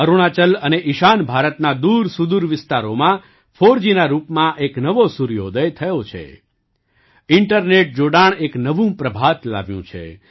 અરુણાચલ અને ઈશાન ભારતના દૂરસુદૂર વિસ્તારોમાં ફોરજીના રૂપમાં એક નવો સૂર્યોદય થયો છે ઇન્ટરનેટ જોડાણ એક નવું પ્રભાત લાવ્યું છે